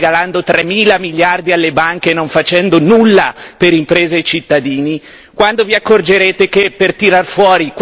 Quando vi accorgerete che non si esce dalla crisi regalando tremila miliardi alle banche e non facendo nulla per imprese e cittadini?